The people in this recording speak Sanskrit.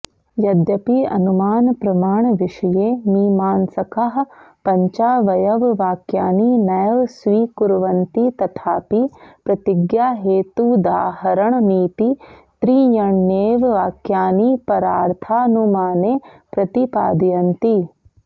यद्यपि अनुमानप्रमाणविषये मीमांसकाः पञ्चावयववाक्यानि नैव स्वीकुर्वन्ति तथापि प्रतिज्ञाहेतूदाहरणनीति त्रीण्येव वाक्यानि परार्थानुमाने प्रतिपादयन्ति